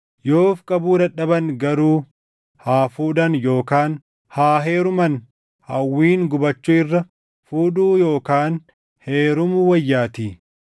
Yoo of qabuu dadhaban garuu haa fuudhan yookaan haa heeruman; hawwiin gubachuu irra fuudhuu yookaan heerumuu wayyaatii.